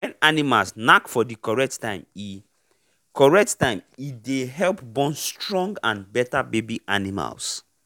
when animals knack for the correct time e correct time e dey help born stronge and better baby animals.